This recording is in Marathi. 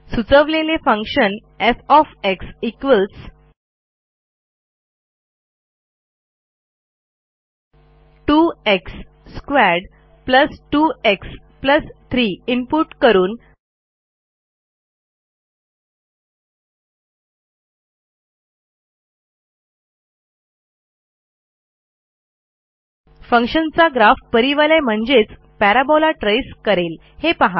सुचवलेले function F 2 x2 2 x 3 input करून फंक्शन चा ग्राफ परिवलय म्हणजेच पॅराबोला ट्रेस करेल हे पहा